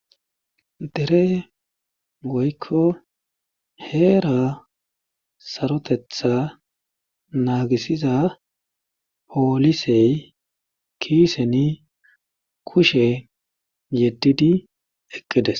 Dere woykko heera sarotetha naagisiza poolisey kiiseni kushe yeddidi eqqides.